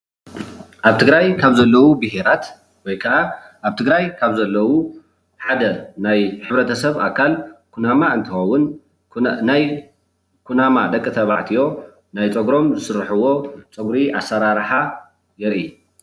ኣብ ትግራይ ካብ ዘለው ብሄራት ወይ ክዓ ኣብ ትግራይ ካብ ዘለው ሓደ ናይ ሕብረተሰብ ኣካል ኩናማ እንትከውን ናይ ኩናማ ደቂ ተባዕትዮ ናይ ፀጉሮም ዝስርሕዎ ፀጉሪ ኣሰራርሓ የርኢ፡፡